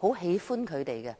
都很喜歡她們。